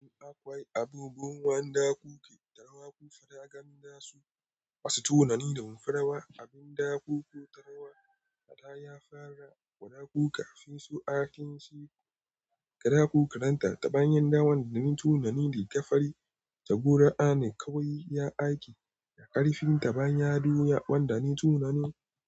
In akwai abubuwan da kuke tarwa, ku faɗa gani dasu. Wasu tunanin da mun farawa abin da kuko tarwa a da ya fara wa ɗaku kafin su aikin shi. Kada ku karanta ta bayan damar da ni tunani da gafarin ta. Guru'a ne kawai ya aiki da ƙarfin ta bayan ya ɗoya ban da ni tunani.